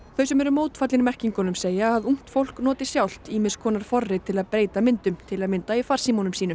þau sem eru mótfallin merkingunum segja að ungt fólk noti sjálft ýmis forrit til að breyta myndum til að mynda í farsímum sínum